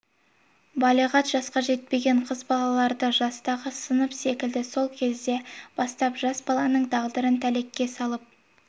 балиғат жасқа жетпеген қыз балаларды жастағы сынып секілді сол кезден бастап жас баланың тағдырын тәлкекке салып